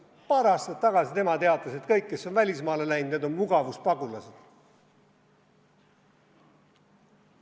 Ta teatas paar aastat tagasi, et kõik, kes on välismaale läinud, on mugavuspagulased.